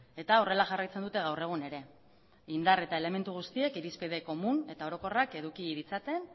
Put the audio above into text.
eta horrela jarraitzen dute gaur egun ere indar eta elementu guztiek irizpide komun eta orokorrak eduki ditzaten